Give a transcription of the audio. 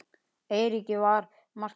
Eiríki var margt gefið.